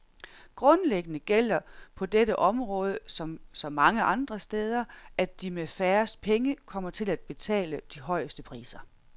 Grundlæggende gælder på dette område, som så mange andre steder, at de med færrest penge kommer til at betale de højeste priser.